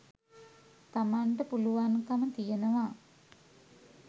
තමන්ට පුළුවන්කම තියෙනවා.